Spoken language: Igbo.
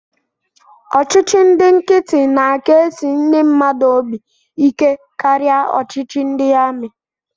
Ọchịchị ndị nkịtị na-aka esi ndị mmadụ obi ike karịa ọchịchị ndị amị